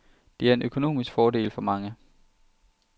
Det er en økonomisk fordel for mange.